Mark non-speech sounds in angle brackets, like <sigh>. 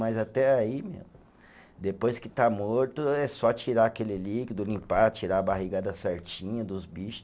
Mas até aí, <unintelligible> depois que está morto, é só tirar aquele líquido, limpar, tirar a barrigada certinha dos bicho.